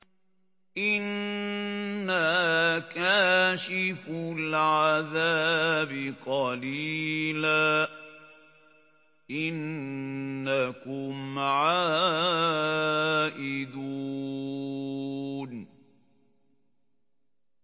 إِنَّا كَاشِفُو الْعَذَابِ قَلِيلًا ۚ إِنَّكُمْ عَائِدُونَ